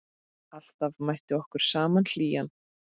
Alltaf mætti okkur sama hlýjan.